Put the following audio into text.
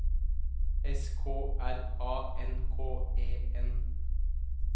S K R A N K E N